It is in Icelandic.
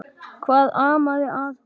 Hvað amaði að honum?